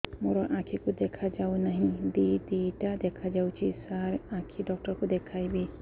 ମୋ ଆଖିକୁ ଦେଖା ଯାଉ ନାହିଁ ଦିଇଟା ଦିଇଟା ଦେଖା ଯାଉଛି ସାର୍ ଆଖି ଡକ୍ଟର କୁ ଦେଖାଇବି